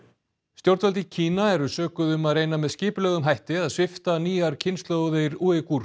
stjórnvöld í Kína eru sökuð um að reyna með skipulögðum hætti að svipta nýjar kynslóðir